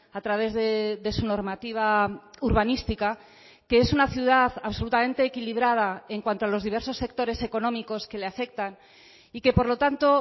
a través de su normativa urbanística que es una ciudad absolutamente equilibrada en cuanto a los diversos sectores económicos que le afectan y que por lo tanto